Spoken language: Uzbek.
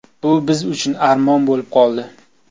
Bu biz uchun armon bo‘lib qoldi.